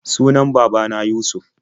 Sunan baba na Yusuf.